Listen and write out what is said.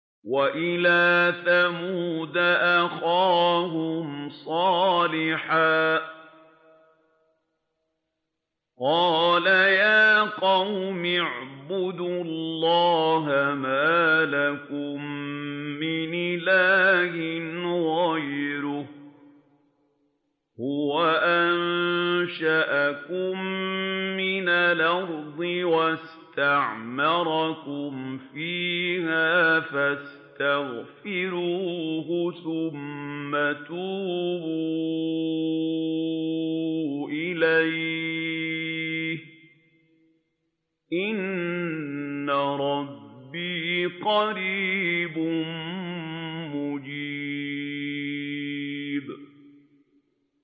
۞ وَإِلَىٰ ثَمُودَ أَخَاهُمْ صَالِحًا ۚ قَالَ يَا قَوْمِ اعْبُدُوا اللَّهَ مَا لَكُم مِّنْ إِلَٰهٍ غَيْرُهُ ۖ هُوَ أَنشَأَكُم مِّنَ الْأَرْضِ وَاسْتَعْمَرَكُمْ فِيهَا فَاسْتَغْفِرُوهُ ثُمَّ تُوبُوا إِلَيْهِ ۚ إِنَّ رَبِّي قَرِيبٌ مُّجِيبٌ